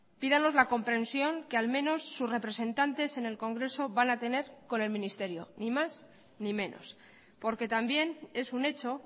pídanos la comprensión que al menos sus representantes en el congreso van a tener con el ministerio ni más ni menos porque también es un hecho